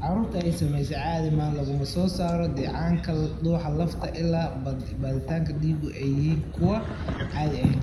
Carruurta ay saamaysay caadi ahaan laguma soo saaro dheecaanka dhuuxa lafta ilaa baadhitaanada dhiigu ay yihiin kuwo aan caadi ahayn.